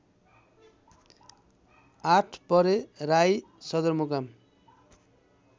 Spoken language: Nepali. आठपरे राई सदरमुकाम